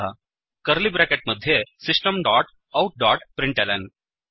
curly bracket मध्ये system dot out dot println